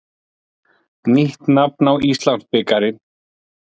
Nýtt nafn á Íslandsbikarinn.